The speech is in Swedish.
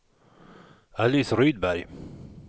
Alice Rydberg